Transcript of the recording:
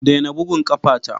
Daina bugun ƙafata!